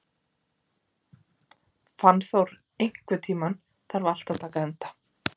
Fannþór, einhvern tímann þarf allt að taka enda.